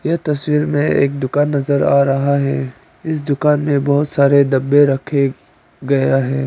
यह तस्वीर में एक दुकान नजर आ रहा है इस दुकान में बहुत सारे डब्बे रखे गया है।